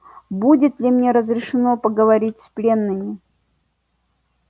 будет ли мне разрешено поговорить с пленными